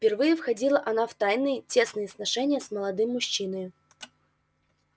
впервые входила она в тайные тесные сношения с молодым мужчиною